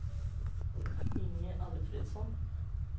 Inge Alfredsson